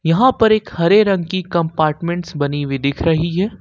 यहां पर एक हरे रंग की कंपार्टमेंटस बनी हुई दिख रही है।